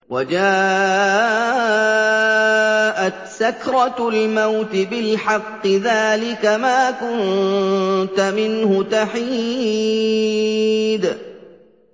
وَجَاءَتْ سَكْرَةُ الْمَوْتِ بِالْحَقِّ ۖ ذَٰلِكَ مَا كُنتَ مِنْهُ تَحِيدُ